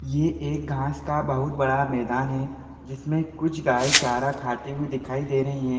ये एक घास का बहुत बड़ा मैदान है जिसमें कुछ गाय चारा खातें हुए दिखाई दे रही है।